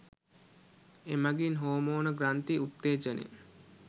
එමගින් හෝමෝන ග්‍රන්ථි උත්තේජනය